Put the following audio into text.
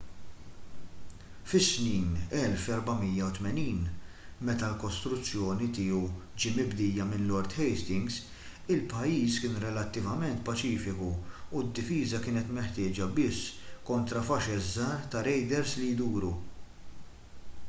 fis-snin 1480 meta l-kostruzzjoni tiegħu ġie mibdija minn lord hastings il-pajjiż kien relattivament paċifiku u d-difiża kienet meħtieġa biss kontra faxex żgħar ta' rejders li jduru